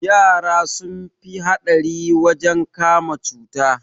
Yara sun fi haɗari wajen kama cuta